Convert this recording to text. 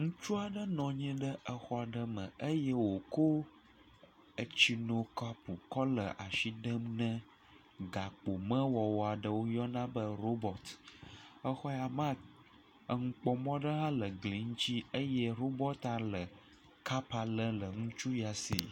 Ŋutsu aɖe nɔ anyi ɖe exɔ aɖe me eye wòko etsinukɔpu kɔ le asi dem ne gamewɔwɔ aɖe si woyɔna be robɔt. Exɔ ya mea, enukpɔmɔ ɖe hã le gli ŋuti eye robɔt hã le kap lém le ŋutsua ya si.